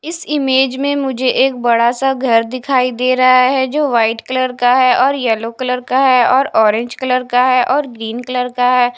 इस इमेज में मुझे एक बड़ा सा घर दिखाई दे रहा है जो व्हाइट कलर का है और येलो कलर का है और ऑरेंज कलर का है और ग्रीन कलर का है।